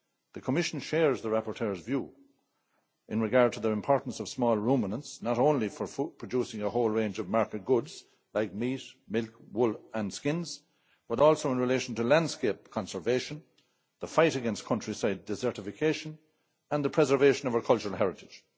The Commission shares the rapporteur's view in regard to the importance of small ruminants, not only for producing a whole range of market goods like meat, milk, wool and skins, but also in relation to landscape conservation, the fight against countryside desertification and the preservation of our cultural heritage.